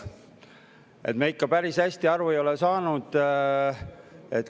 Me ei ole ikka päris hästi aru saanud …